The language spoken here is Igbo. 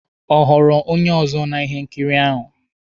Ọ ghọrọ onye ọzọ na ihe nkiri ahụ?